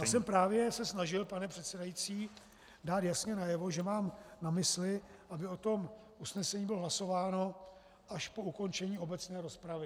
Já jsem právě se snažil, pane předsedající, dát jasně najevo, že mám na mysli, aby o tom usnesení bylo hlasováno až po ukončení obecné rozpravy.